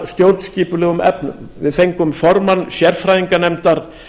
að stjórnskipulegum efnum við fengum formann sérfræðinganefndar